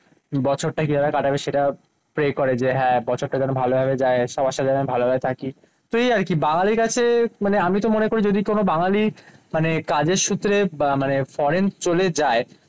বছরটা কিভাবে কাটাবে সেটা প্রে করে যে, হ্যাঁ বছরটা যেন ভালোভাবে যায় সবার সাথে যেন ভালোভাবে থাকি। সেই আর কি? বাঙালিরা হচ্ছে মানে আমি তো মনে করি যদি কোন বাঙালি মানে কাজের সূত্রে মানে ফরেন চলে যায়,